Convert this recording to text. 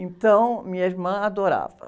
Então, minha irmã adorava.